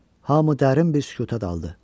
Hamı dərin bir sükuta daldı.